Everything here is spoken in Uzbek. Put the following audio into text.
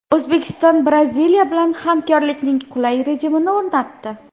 O‘zbekiston Braziliya bilan hamkorlikning qulay rejimini o‘rnatdi .